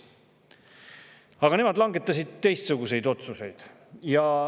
Aga nemad langetasid teistsuguseid otsuseid.